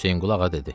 Hüseynqulu Ağa dedi: